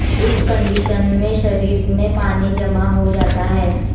इस कंडीशन में शरीर में पानी जमा हो जाता है